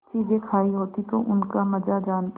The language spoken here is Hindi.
चीजें खायी होती तो उनका मजा जानतीं